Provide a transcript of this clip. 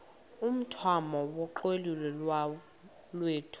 umthamo wonxielelwano lwethu